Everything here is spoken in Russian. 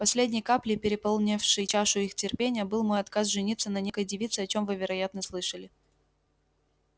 последней каплей переполнившей чашу их терпения был мой отказ жениться на некоей девице о чем вы вероятно слышали